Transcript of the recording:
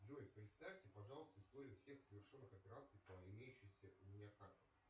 джой представьте пожалуйста историю всех совершенных операций по имеющимся у меня картам